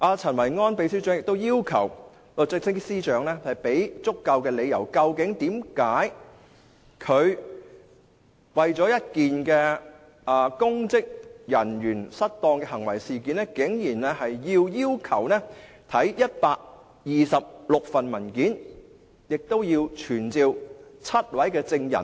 陳維安秘書長亦要求律政司司長給予足夠理由，說明為何他為了一件公職人員行為失當的事件，竟然要求看126份文件，亦要傳召7位證人。